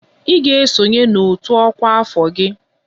Ị ga-esonye n'otu ọkwa afọ gị!